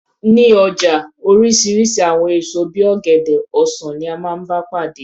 Ní ọjà oríṣiríṣi àwọn èso bí i ọ̀gẹ̀dẹ̀, ọsan ni a máa ń bá pàdé.